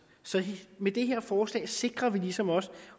med det her forslag sikrer vi ligesom også